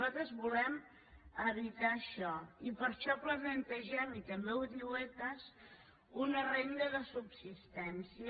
nosaltres volem evitar això i per això plantegem i també ho diu ecas una renda de subsistència